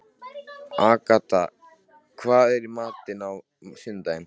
Agatha, hvað er í matinn á sunnudaginn?